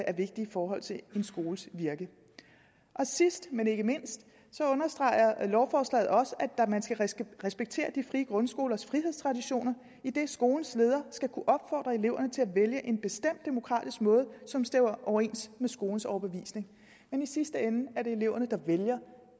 er vigtig i forhold til en skoles virke sidst men ikke mindst understreger lovforslaget også at man skal respektere de frie grundskolers frihedstraditioner idet skolens leder skal kunne opfordre eleverne til at vælge en bestemt demokratisk måde som stemmer overens med skolens overbevisning men i sidste ende er det eleverne der vælger